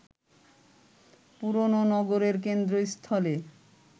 পুরোনো নগরের কেন্দ্রস্থলে